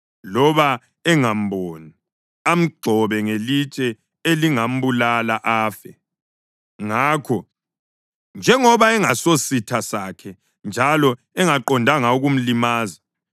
loba engamboni, amgxobe ngelitshe elingambulala, afe, ngakho njengoba engasisositha sakhe njalo engaqondanga ukumlimaza,